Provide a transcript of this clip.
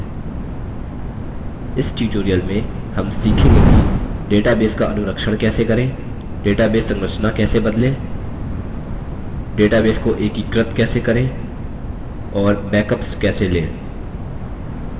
इस tutorial में हम सीखेंगे कि डेटाबेस का अनुरक्षण कैसे करें डेटाबेस संरचना कैसे बदलें डेटाबेस को एकीकृत कैसे करें और बैकअप्स कैसे लें